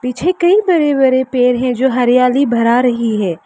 पीछे कई बड़े बड़े पेड़ है जो हरियाली बढ़ा रही है।